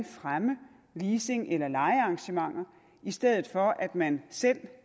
fremme leasing eller lejearrangementer i stedet for at man selv